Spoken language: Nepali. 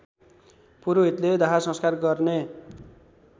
पुरोहितले दाहसंस्कार गर्ने